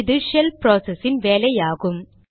இது shell process இன் வேலை ஆகும்